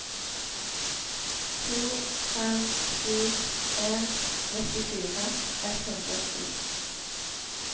to fem sju en nittifire ett hundre og sju